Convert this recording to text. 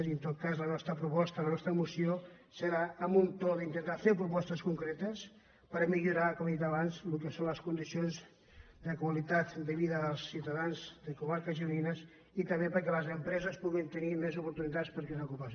i en tot cas la nostra proposta la nos·tra moció serà amb un to d’intentar fer propostes con·cretes per millorar com he dit abans el que són les condicions de qualitat de vida dels ciutadans de co·marques gironines i també perquè les empreses pu·guin tenir més oportunitats per crear ocupació